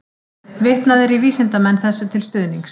Vitnað er í vísindamenn þessu til stuðnings.